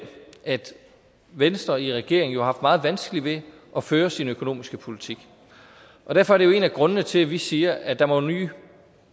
at venstre i regering har haft meget vanskeligt ved at føre sin økonomiske politik og derfor er det jo en af grundene til at vi siger at der må nye